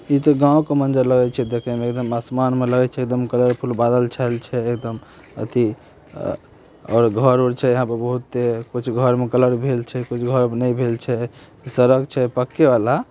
इ त गांव मंदिर लगे छै देखे में एकदम आसमान में लगए छै कलरफुल बादल छाए छै एकदम एथी अ घर उर छै यहाँ पे बहुत कुछ घर में कलर भइल छै कुछ घर में नहीं भइल छै सड़क छै पक्के वाला।